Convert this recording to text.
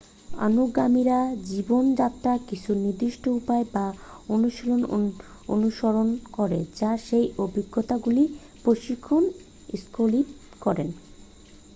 অনুগামীরা জীবনযাত্রার কিছু নির্দিষ্ট উপায় বা অনুশীলন অনুসরণ করে যা সেই অভিজ্ঞতাগুলির প্রশিক্ষণ সঙ্কল্পিত করে